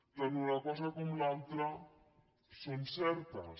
tant una cosa com l’altra són certes